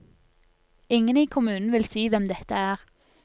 Ingen i kommunen vil si hvem dette er.